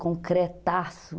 Concretaço.